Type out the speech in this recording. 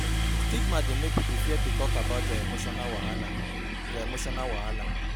Stigma dey mek pipo fear to tok about dia emotional wahala dia emotional wahala